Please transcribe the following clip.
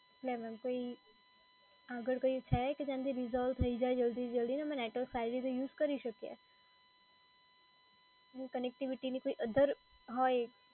Madam એમ કોઈ આગળ કંઈ છે કે જેનાંથી રિસોલ્વ થઈ જાય જલ્દી જલ્દી, અમે નેટવર્ક સારી રીતે યુઝ કરી શકીએ? connectivity ની other હોય